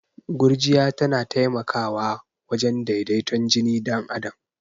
Gurjiya tana taimakwa wajen daidaton jini dan adam.